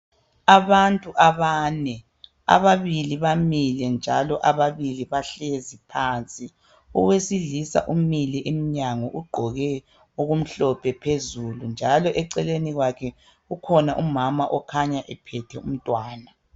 Abantu abane. Ababili bamile njalo ababili bahlezi phansi. Owesilisa umile emnyango ugqoke okumhlophe phezulu njalo eceleni kwakhe kukhona umama okhanya ephethe umntwana.